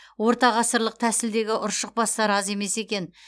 ортағасырлық тәсілдегі ұршықбастар аз емес екен